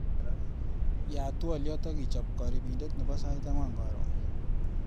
Yaat twaliot akichap karipindet nebo sait angwan karon.